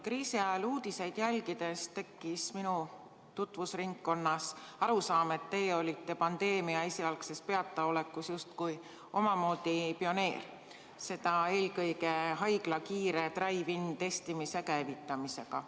Kriisi ajal uudiseid jälgides tekkis minu tutvusringkonnas arusaam, et teie olite pandeemia esialgses peataolekus justkui omamoodi pioneer, seda eelkõige haigla kiire drive-in-testimise käivitamisega.